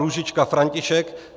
Růžička František